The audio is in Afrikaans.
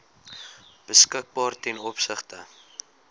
beskikbaar ten opsigte